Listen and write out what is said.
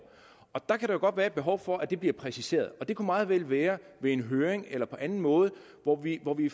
der kan godt være behov for at det bliver præciseret og det kunne meget vel være ved en høring eller på anden måde hvor vi hvor vi